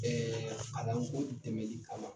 Kalanko dɛmɛli kama